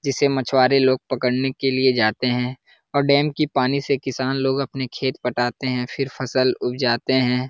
जिसे मछुवारे लोग पकड़ने के लिए जाते हैं और डैम की पानी से किसान लोग अपने खेत पटाते हैं फिर फसल उब जाते हैं।